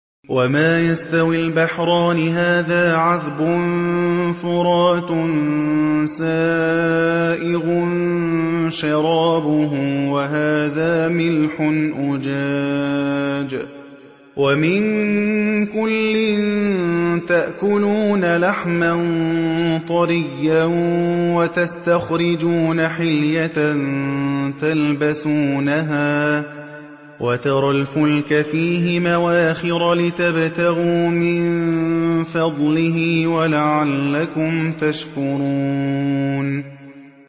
وَمَا يَسْتَوِي الْبَحْرَانِ هَٰذَا عَذْبٌ فُرَاتٌ سَائِغٌ شَرَابُهُ وَهَٰذَا مِلْحٌ أُجَاجٌ ۖ وَمِن كُلٍّ تَأْكُلُونَ لَحْمًا طَرِيًّا وَتَسْتَخْرِجُونَ حِلْيَةً تَلْبَسُونَهَا ۖ وَتَرَى الْفُلْكَ فِيهِ مَوَاخِرَ لِتَبْتَغُوا مِن فَضْلِهِ وَلَعَلَّكُمْ تَشْكُرُونَ